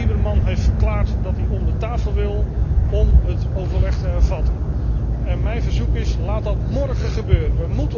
Lieberman heeft verklaard dat hij om de tafel wil om het overleg te hervatten. Mijn verzoek is laat dat mórgen gebeuren!